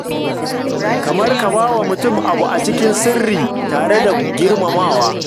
Kamar ka ba wa mutum abu a cikin sirri tare da girmamawa.